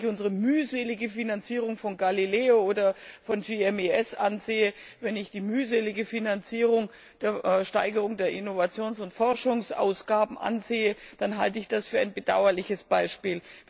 Wenn ich unsere mühselige Finanzierung von GALILEO oder von GMES ansehe, wenn ich die mühselige Steigerung der Innovations und Forschungsausgaben ansehe, dann halte ich das für ein bedauerliches Beispiel.